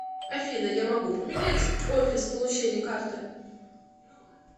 афина я могу поменять офис получения карты